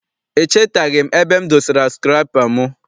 Echetaghị m ebe m dosara sukụrapa m.